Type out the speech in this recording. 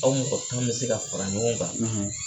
Aw mɔgɔ tan bɛ se ka fara ɲɔgɔn kan